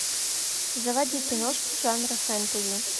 заводи киношку жанра фэнтези